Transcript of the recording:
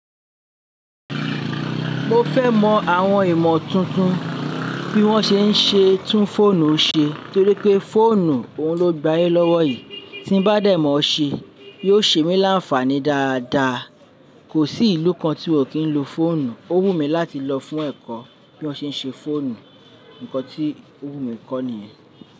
Mo fẹ́ mọ àwọn ìmọ̀ tuntun tí wọ́n ṣe ń ṣe tún fóònù ṣe torí pé fóònù òun ló gbayé lọ́wọ́ yìí. Tín bá dàìmọ́ ọ ṣe, yóò ṣe mí láǹfààní dáadáa. Kò sí ìlú kan tí wọ́n kì ń lo fóònù. Ó wù mí láti lọ fún ẹ̀kọ́ bí wọ́n ṣe ń ṣe fóònù. Nǹkan tí ó wù mí kọ́ nìyẹn.